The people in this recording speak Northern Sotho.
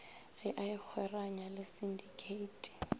ge a ikgweranya le sinditheithi